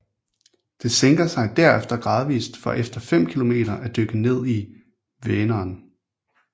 Det sænker sig derefter gradvist for efter fem kilometer at dykke ned i Vänern